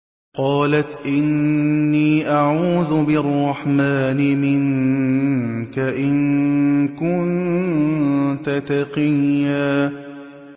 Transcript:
قَالَتْ إِنِّي أَعُوذُ بِالرَّحْمَٰنِ مِنكَ إِن كُنتَ تَقِيًّا